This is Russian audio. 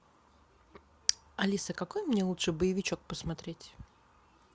алиса какой мне лучше боевичок посмотреть